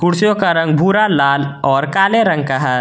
कुर्सिओं का रंग भूरा लाल और काले रंग का है।